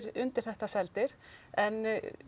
undir þetta seldir en